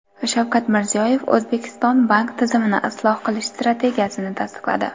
Shavkat Mirziyoyev O‘zbekiston bank tizimini isloh qilish strategiyasini tasdiqladi.